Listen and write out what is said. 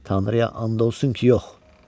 Tanrıya and olsun ki, yox.